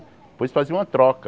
Depois fazia uma troca.